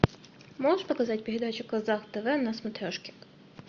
можешь показать передачу казах тв на смотрешке